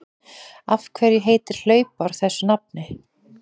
Af hverju heitir hlaupár þessu nafni?